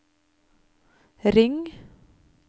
ring